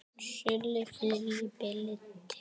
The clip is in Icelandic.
Sál manns kalla megum.